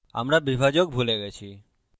আমরা বিভাজক break ভুলে গেছি